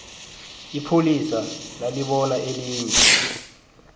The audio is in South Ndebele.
ipholisa nalibona elinye